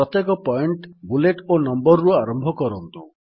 ପ୍ରତ୍ୟେକ point bullet ଓ number ରୁ ଆରମ୍ଭ କରନ୍ତୁ